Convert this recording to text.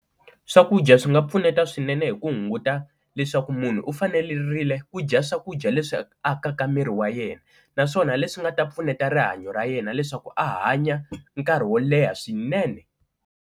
Swakudya swi nga pfuneta swinene hi ku hunguta leswaku munhu u fanelerile ku dya swakudya leswi akaka miri wa yena naswona leswi nga ta pfuneta rihanyo ra yena leswaku a hanya nkarhi wo leha swinene.